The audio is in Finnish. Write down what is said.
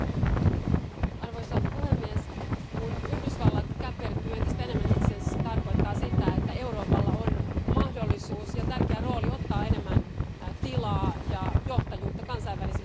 Arvoisa puhemies, kun Yhdysvallat käpertyy entistä enemmän itseensä, se tarkoittaa sitä, että Euroopalla on mahdollisuus ja tärkeä rooli ottaa enemmän tilaa ja johtajuutta kansainvälisillä areenoilla.